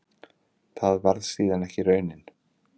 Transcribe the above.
Það varð síðan ekki raunin.